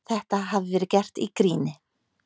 Þetta hafi verið gert í gríni